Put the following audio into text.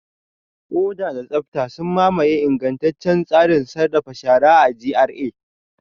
Oda da tsabta sun mamaye ingantaccen tsarin sarrafa shara a GRA.